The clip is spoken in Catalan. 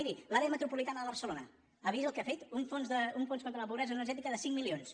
miri l’àrea metropolitana de barcelona ha vist el que ha fet un fons contra la pobresa energètica de cinc milions